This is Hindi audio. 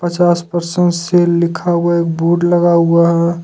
पचास परसेंटेज सेल लिखा हुआ एक बोर्ड लगा हुआ है।